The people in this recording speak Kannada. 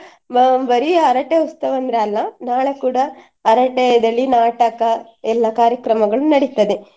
ಮಾ~ ಬರೀ ಹರಕೆ ಉತ್ಸವ ಅಂದ್ರೆ ಅಲ್ಲ ನಾಳೆ ಕೂಡ ಹರಕೆ ಇದ್ರಲ್ಲಿ ನಾಟಕ ಎಲ್ಲ ಕಾರ್ಯಕ್ರಮಗಳು ನಡಿತ್ತದೆ.